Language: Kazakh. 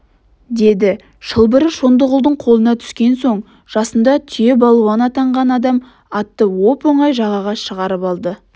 деді шылбыры шондығұлдың қолына түскен соң жасында түйе балуан атанған адам атты оп-оңай жағаға шығарып алды